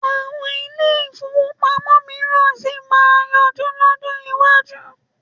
Àwọn ilé-ìfowópamọ́ mìíràn sì máa yọjú lọ́jọ́ iwájú.